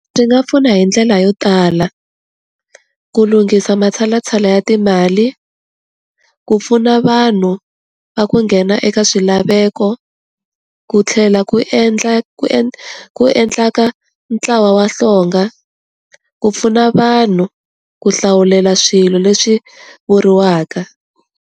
Byi nga pfuna hi ndlela yo tala, ku lunghisa matshalatshala ya timali, ku pfuna vanhu va ku nghena eka swilaveko, ku tlhela ku endla ku ku endla ka ntlawa wa hlonga, ku pfuna vanhu ku hlawulela swilo leswi vuriwaka.